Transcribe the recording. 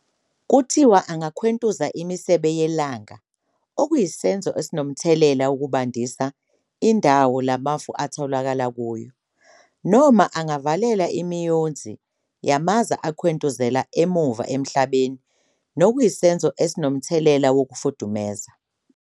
Kuthiwa angakhwentuza imisebe yelanga okuyisenzo esinomthelela wokubandisa indawo la mafu atholakala kuyo, noma angavalela imiyonzi yamaza ekhwentuzela emuva emhlabeni nokuyisenzo esinomthelela wokufudumeza.